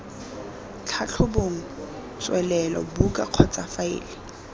tlhatlhobong tswelelo buka kgotsa faele